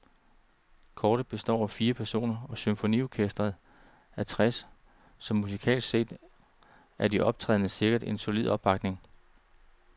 Koret består af firs personer, og symfoniorkesteret af tres, så musikalsk set er de optrædende sikret en solid opbakning.